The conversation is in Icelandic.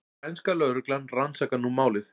Spænska lögreglan rannsakar nú málið